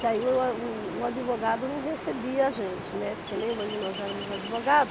Que aí o a o advogado não recebia a gente, né, porque nenhuma de nós éramos advogada.